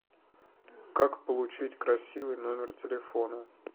как получить красивый номер телефона